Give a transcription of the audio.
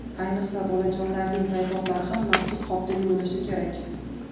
Ayniqsa, bolajonlarning paypoqlari ham maxsus qopda yuvilishi kerak.